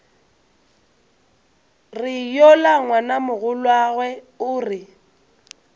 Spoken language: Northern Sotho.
re yola ngwanamogolwago o re